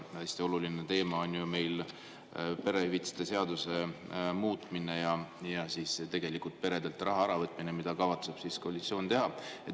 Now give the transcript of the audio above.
Hästi oluline teema on meil perehüvitiste seaduse muutmine ja tegelikult peredelt raha äravõtmine, mida koalitsioon kavatseb teha.